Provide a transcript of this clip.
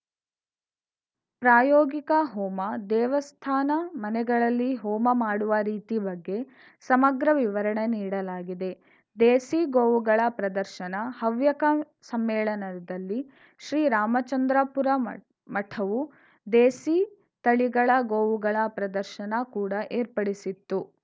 ಪ್ರಾಯೋಗಿಕ ಹೋಮ ದೇವಸ್ಥಾನ ಮನೆಗಳಲ್ಲಿ ಹೋಮ ಮಾಡುವ ರೀತಿ ಬಗ್ಗೆ ಸಮಗ್ರ ವಿವರಣೆ ನೀಡಲಾಗಿದೆ ದೇಸಿ ಗೋವುಗಳ ಪ್ರದರ್ಶನ ಹವ್ಯಕ ಸಮ್ಮೇಳನದಲ್ಲಿ ಶ್ರೀರಾಮಚಂದ್ರಾಪುರ ಮಠವು ದೇಸಿ ತಳಿಗಳ ಗೋವುಗಳ ಪ್ರದರ್ಶನ ಕೂಡಾ ಏರ್ಪಡಿಸಿತ್ತು